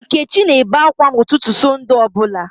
Nkechi na-ebe ákwá n'ụtụtụ Satọde ọbụla